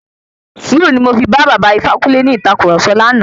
Sùúrù ni mo fi bá baba Ifákúnle ní ìtàkurọ̀sọ lánàá.